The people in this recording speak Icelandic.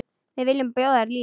Við viljum bjóða þér líf.